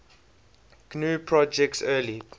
gnu project's early